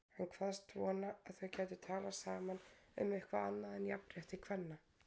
Hann kvaðst vona að þau gætu talað saman um eitthvað annað en jafnrétti kvenna.